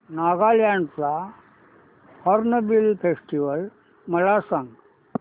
नागालँड चा hornbill festival मला सांग